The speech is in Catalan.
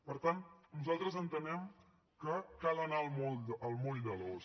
per tant nosaltres entenem que cal anar al moll de l’os